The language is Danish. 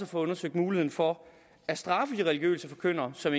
få undersøgt muligheden for at straffe de religiøse forkyndere som